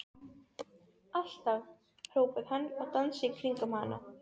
Alltaf! hrópaði hann og dansaði í kringum hana.